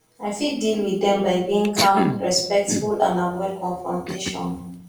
i fit deal with dem by being calm respectful and avoid confrontation